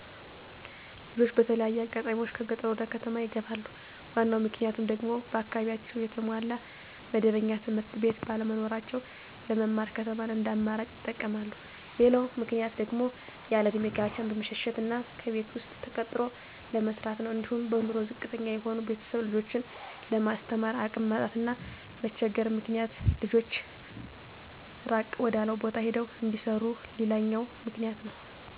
ልጆች በተለያየ አጋጣሚዎች ከገጠር ወደከተማ ይገባሉ ዋናው ምክንያቱም ደግሞ በአካባቢያቸው የተሟላ መደበኛ ትምህርትቤት ባለመኖራቸው ለመማር ከተማን እንደአማራጭ ይጠቀመማሉ። ሌላው ምክንያት ደግሞ ያለእድሜ ጋብቻን በመሸሸት እና ከሰው ቤት ተቀጥሮ ለመስራት ነው። አንዲሁም በኑሮ ዝቅተተኛ የሆኑ ቤተሰብ ልጆችን ለማስተማር አቅም ማጣት እና መቸገር ምክንያት ልጆች እራቅ ወዳለው ቦታ ሄደው እንዲሰሩ ሌላውኛው ምክንያት ነው።